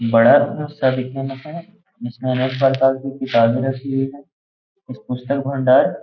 बड़ा दिखने मे है। जिसमे की किताबे रखी हुई हैं। पुस्तक भंडार --